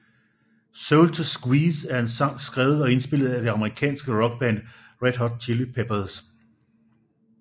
Soul To Squeeze er en sang skrevet og indspillet af det amerikanske rockband Red Hot Chili Peppers